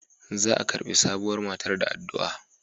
Za a karbi sabuwar matar da addu'a.